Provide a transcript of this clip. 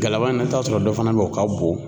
Galama in na i bi t'a sɔrɔ dɔ fana bɛ ye o ka bon.